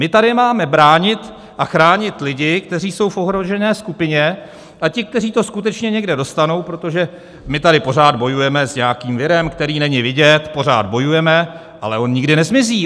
My tady máme bránit a chránit lidi, kteří jsou v ohrožené skupině, a ti, kteří to skutečně někde dostanou, protože my tady pořád bojujeme s nějakým virem, který není vidět, pořád bojujeme, ale on nikdy nezmizí.